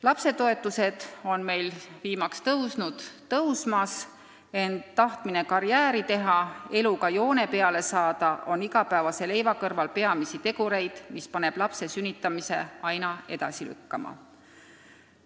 Lapsetoetus on meil viimaks kasvanud, ent tahtmine karjääri teha, eluga joone peale saada on igapäevase leiva teenimise kõrval peamisi tegureid, mis paneb lapse sünnitamist aina edasi lükkama.